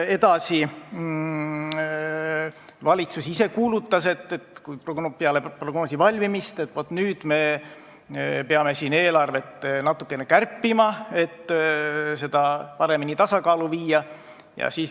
Edasi, valitsus ise kuulutas peale prognoosi valmimist, et nüüd me peame eelarvet natukene kärpima, et see paremini tasakaalu viia.